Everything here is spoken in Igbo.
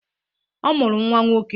Ọ mụrụ nnwa nwoke.